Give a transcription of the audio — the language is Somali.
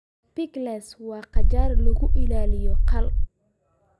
Pickles waa qajaar lagu ilaaliyo khal.